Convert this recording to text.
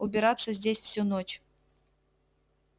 убираться здесь всю ночь